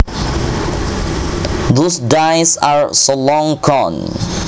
Those days are so long gone